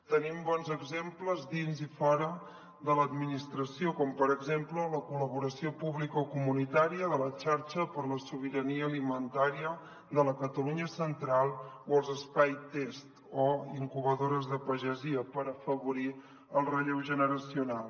tenim bons exemples dins i fora de l’administració com per exemple la col·laboració publicocomunitària de la xarxa per la sobirania alimentària de la catalunya central o els espais test o incubadores de pagesia per afavorir el relleu generacional